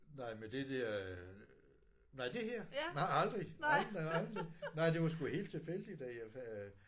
Nej med det der øh nej det her? Nej aldrig aldrig nej aldrig nej det var sgu helt tilfældigt at jeg øh